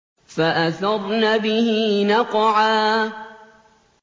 فَأَثَرْنَ بِهِ نَقْعًا